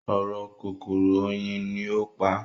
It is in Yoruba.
“oró kòkòrò oyin” ni ó pa á.